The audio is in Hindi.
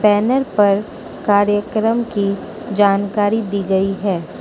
बैनर पर कार्यक्रम की जानकारी दी गई है।